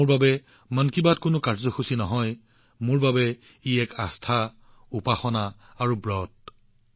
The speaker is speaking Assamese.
মোৰ বাবে মন কী বাত কোনো কাৰ্যসূচী নহয় মোৰ বাবে ই বিশ্বাস উপাসনা বা ব্ৰতৰ বিষয়